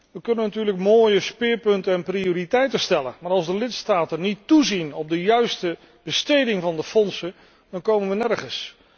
We kunnen natuurlijk mooie speerpunten en prioriteiten stellen, maar als de lidstaten niet toezien op de juiste besteding van de fondsen, dan komen we nergens.